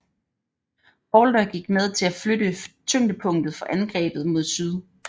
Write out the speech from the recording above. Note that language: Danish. Halder gik med til at flytte tyngdepunktet for angrebet mod syd